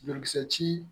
Banakisɛ ci